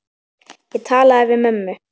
Ég talaði við mömmu.